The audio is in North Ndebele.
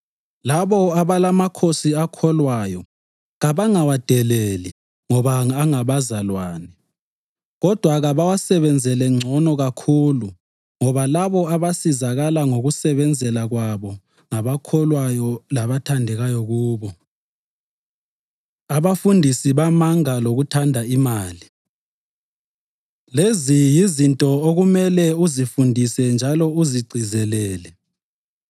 Labo abalamakhosi akholwayo kabangawadeleli ngoba angabazalwane. Kodwa kabawasebenzele ngcono kakhulu ngoba labo abasizakala ngokubasebenzela kwabo ngabakholwayo labathandekayo kubo. Abafundisi Bamanga Lokuthanda Imali Lezi yizinto okumele uzifundise njalo uzigcizelele.